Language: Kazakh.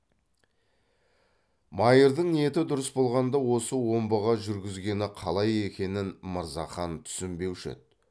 майырдың ниеті дұрыс болғанда осы омбыға жүргізгені қалай екенін мырзахан түсінбеуші еді